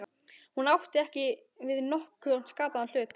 Hún átti ekki við nokkurn skapaðan hlut.